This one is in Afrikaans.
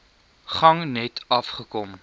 gang net afgekom